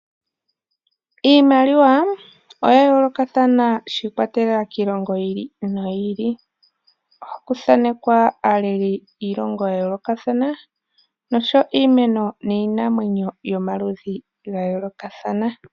Iimaliwa oya yoolokathana shi ikwatelela kiilongo yi ili noyi ili, ohaku thanekwa aaleli yiilongo ya yoolokathana noshowo iimeno niinamwenyo yomaludhi ga yoolokathana.